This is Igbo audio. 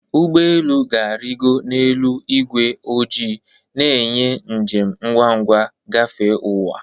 Ụgbọ elu ga-arịgo n'elu ígwé ojii, na-enye njem ngwa ngwa gafee ụwa.